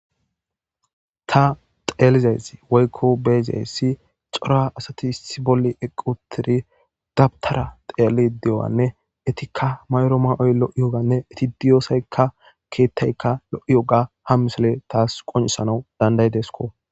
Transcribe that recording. ta xeelizaysi woykko beezessi cora asati issi bolli equtidi dabtara xeeli de7owanne etikka mayro ma7oy lo7i yoganne eti diyoosaykka keethtaykka lo7i yoga ham misele taas qonisanau dandaydesko